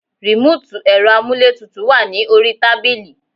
Remoti ẹ̀rọ amuletutu wà ní orí tábìlì